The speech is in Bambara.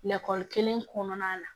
Lakɔli kelen kɔnɔna la